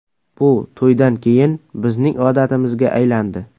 Bu to‘ydan keyin bizning odatimizga aylandi.